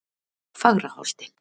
Fagraholti